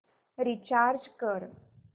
recharge कर